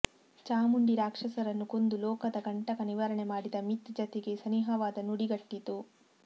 ಚಾಮುಂಡಿ ರಾಕ್ಷಸರನ್ನು ಕೊಂದು ಲೋಕದ ಕಂಟಕ ನಿವಾರಣೆ ಮಾಡಿದ ಮಿತ್ ಜತೆಗೆ ಸನಿಹವಾದ ನುಡಿಗಟ್ಟಿದು